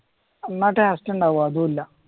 എന്ന ടേസ്റ്റ് ഉണ്ടോ അതും ഇല്ല